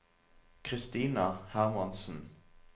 Christina Hermansen